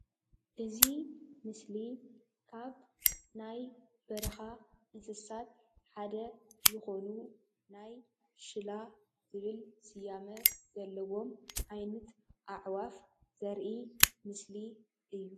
እዚ ምስሊ ካብ ናይ በረኻ እንስሳት ሓደ ዝኾኑ ናይ ሽላ ዝብል ስያመ ዘለዎም ዓይነት ኣዕዋፍ ዘርኢ ምስሊ እዩ።